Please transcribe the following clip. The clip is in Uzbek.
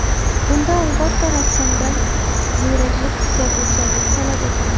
Bunda, albatta, rassomdan ziyraklik, kuzatuvchanlik talab etiladi.